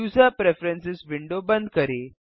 user preferences window बंद करें